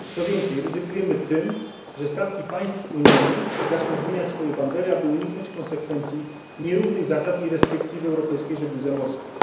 Co więcej, ryzykujemy tym, że statki państw unijnych zaczną zmieniać swoje bandery, aby uniknąć konsekwencji nierównych zasad i restrykcji w europejskiej żegludze morskiej.